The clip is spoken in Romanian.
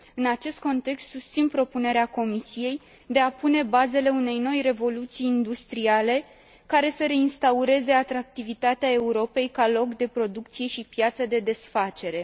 În acest context, susțin propunerea Comisiei de a pune bazele unei noi revoluții industriale, care să reinstaureze atractivitatea Europei ca loc de producție și piață de desfacere.